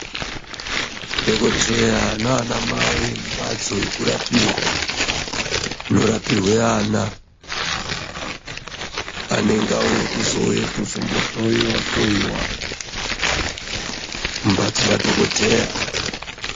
Dhokodheya nana Mai mumbatso yekurapirwa munirapirwanana anenge auya kuzohloiwa hloiwa mbatso madhokodheya.